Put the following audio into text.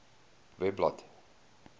webblad